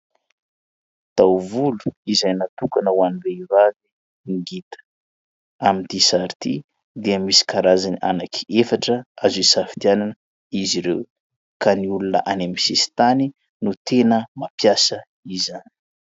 Taovolo izay natokana ho an'ny vehivavy ngita. Amin'ity sary ity dia misy karazany anankiefatra azo isafidianana izy ireo, ka ny olona any amin'ny sisintany no tena mampiasa izany.